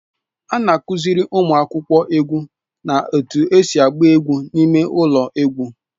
A na-akụziri ụmụ akwụkwọ egwu na-etu esi agba egwu n'ime ụlọ egwu